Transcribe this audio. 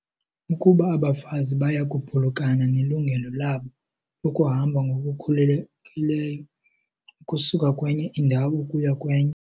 Ukuba abafazi baya kuphulukana nelungelo labo lokuhamba ngokukhululekileyo ukusuka kwenye indawo ukuya kwenye.